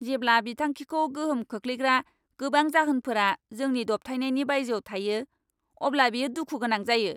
जेब्ला बिथांखिखौ गोहोम खोख्लैग्रा गोबां जाहोनफोरा जोंनि दबथायनायनि बायजोआव थायो, अब्ला बियो दुखु गोनां जायो।